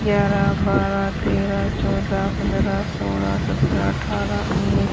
ग्यारह बारह तेरह चौदह पंद्रह सोलह सत्रह अठारह उन्नीस--